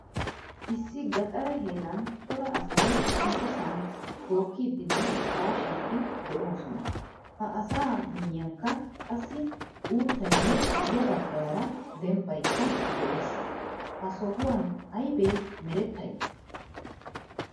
Issi gaxare heeran cora asay issisan bookkidinne kaashidi deosona. Ha asa miyiyanikka qassi uuttaynne ya baggaara dembaykka de'ees. Ha sohuwan aybe merettay?